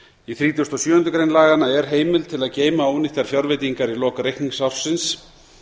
í þrítugustu og sjöundu grein laganna er heimild til að geyma ónýttar fjárveitingar í lok reikningsársins